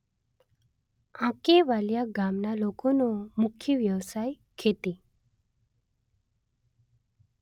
આંકેવાલીયા ગામના લોકોનો મુખ્ય વ્યવસાય ખેતી